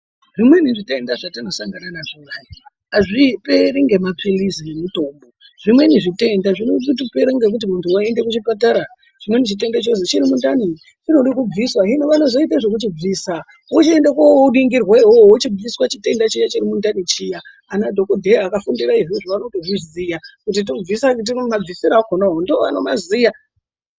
Zvimweni zvitenda zvatinosangana nazvo hai, azviperi ngemaphirizi ngemitombo zvimweni zvitenda zvinotopera ngekuti muntu waende kuchipatara , chimweni chitenda chozi chiri mundani chinode kubviswa hino vanozoite zvekuchibvisa wochiende koningirwa iwewe wochibviswa chitenda chiya chiri mundani chiya. Anadhokodheya akafundira izvozvo anotozviziya kuti tobvisa ,mabvisiro akonawo ndoanomaziya.